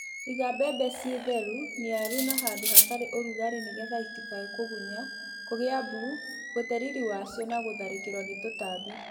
Iga mbembe ciĩ theru , niaru na handũ hatarĩ ũrugarĩ nĩgetha itikae kũgunya, kũgĩa mbuu, gũte riri wacio na gũtharĩkĩrwo nĩ tũtambi.